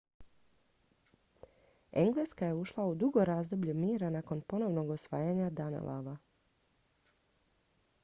engleska je ušla u dugo razdoblje mira nakon ponovnog osvajanja danelawa